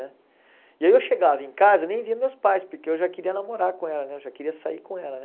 Né? E aí eu chegava em casa e nem via meus pais, porque eu já queria namorar com ela né, eu já queria sair com ela né.